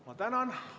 Ma tänan!